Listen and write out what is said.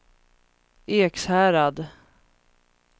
Ekshärad